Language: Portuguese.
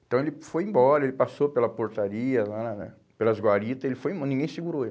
Então ele foi embora, ele passou pela portaria lá na na, pelas guaritas, ele foi em, ninguém segurou ele.